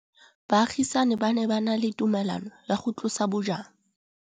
Baagisani ba ne ba na le tumalanô ya go tlosa bojang.